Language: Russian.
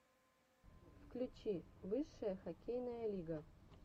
включи высшая хоккейная лига